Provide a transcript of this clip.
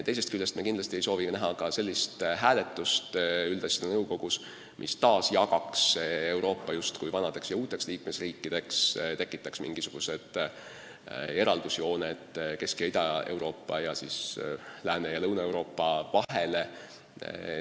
Teisest küljest me ei soovi üldasjade nõukogus ka sellist hääletust, mis taas jagaks Euroopa justkui vanadeks ja uuteks liikmesriikideks, tekitaks mingisugused eraldusjooned Kesk- ja Ida-Euroopa ning Lääne- ja Lõuna-Euroopa vahele.